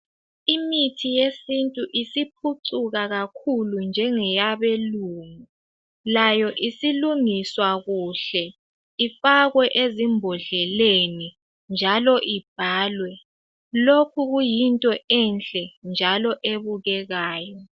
Imithi yesintu isiphucuka kakhulu njengeyabe lungu layo isilungiswa kuhle ifakwe ezimbodleleni njalo ibhalwe lokhu kuyinto enhle njalo ebukekayo